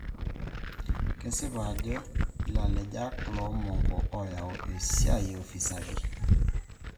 Kesipa ajo ilalenjak lo mongo oyau esiai e ufisadi